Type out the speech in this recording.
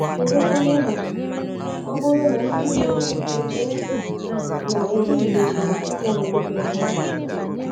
Kedu kwanu ma ọ bụrụ na Ndị Mụrụ M Echee na Mụ Etorubeghị Ime ọyị nwaoke na nwaanyị?